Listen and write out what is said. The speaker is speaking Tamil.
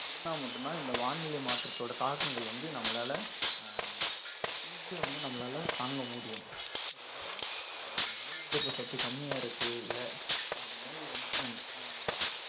இருந்தா மட்டும்தான் இந்த வானிலை மாற்றத்தோட தாக்கங்கள் வந்து நம்மளால அஹ் easy ஆ வந்து நம்மளால தாங்க முடியும் ஒருவேள எனக்கு நோய் எதிர்ப்பு சக்தி கம்மியா இருக்கு இல்ல என்னோட நோய் அஹ்